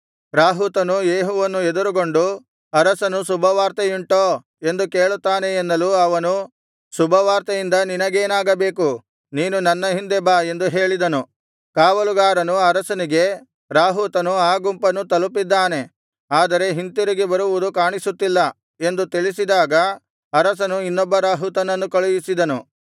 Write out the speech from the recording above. ರಾಹುತನು ಯೇಹುವನ್ನು ಎದುರುಗೊಂಡು ಅರಸನು ಶುಭವಾರ್ತೆಯುಂಟೋ ಎಂದು ಕೇಳುತ್ತಾನೆ ಎನ್ನಲು ಅವನು ಶುಭವಾರ್ತೆಯಿಂದ ನಿನಗೇನಾಗಬೇಕು ನೀನು ನನ್ನ ಹಿಂದೆ ಬಾ ಎಂದು ಹೇಳಿದನು ಕಾವಲುಗಾರನು ಅರಸನಿಗೆ ರಾಹುತನು ಆ ಗುಂಪನ್ನು ತಲುಪಿದ್ದಾನೆ ಆದರೆ ಹಿಂತಿರುಗಿ ಬರುವುದು ಕಾಣಿಸುತ್ತಿಲ್ಲ ಎಂದು ತಿಳಿಸಿದಾಗ ಅರಸನು ಇನ್ನೊಬ್ಬ ರಾಹುತನನ್ನು ಕಳುಹಿಸಿದನು